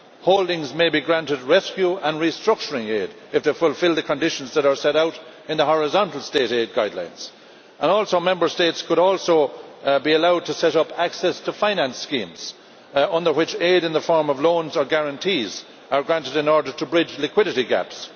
Holdings may be granted rescue and restructuring aid if they fulfil the conditions that are set out in the horizontal state aid guidelines. Member States could also be allowed to set up access to finance schemes under which aid in the form of loans or guarantees is granted in order to bridge liquidity gaps.